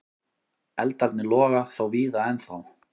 Eldarnir loga þó víða ennþá.